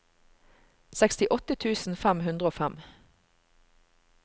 sekstiåtte tusen fem hundre og fem